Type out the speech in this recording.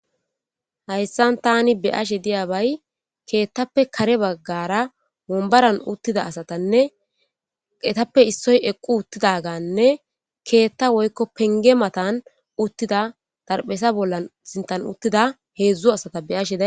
Hayssan taani be'ashe diyabay keettappe kare baggara wonbaran uttida asatanne etappe issoy eqqi uttidaganne keetta woykko pengge matan uttida xarapheza sinttan uttida heedzdzu asata be'ashe days.